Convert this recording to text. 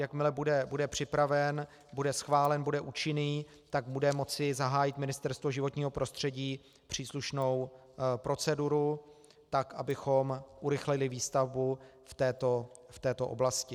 Jakmile bude připraven, bude schválen, bude účinný, tak bude moci zahájit Ministerstvo životního prostředí příslušnou proceduru, tak abychom urychlili výstavbu v této oblasti.